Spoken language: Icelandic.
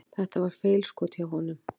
Þetta var feilskot hjá honum.